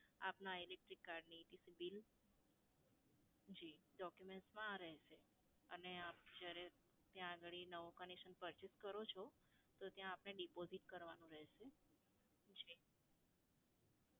આપના electric card ની bill. જી, documents માં આ રહેશે. અને આપ જ્યારે ત્યાં આગળી નવું connection purchase કરો છો તો ત્યાં આપને deposit કરવાનું રહેશે. જી.